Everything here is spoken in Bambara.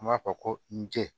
An b'a fɔ ko nje